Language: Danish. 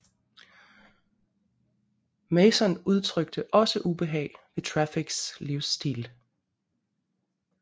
Mason udtrykte også ubehag ved Traffics livsstil